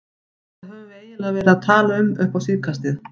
Hvað höfum við eiginlega verið að tala um upp á síðkastið?